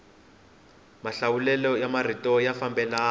mahlawulelo ya marito ya fambelana